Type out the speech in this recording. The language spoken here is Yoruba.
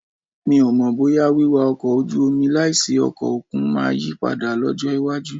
Mi ò mọ̀ bóyá wíwá ọkọ̀ ojú omi láìsí ọkọ̀ òkun máa yí padà lọ́jọ́ iwájú